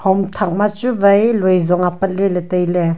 hom thak ma chu wai loizong apat leley tailey.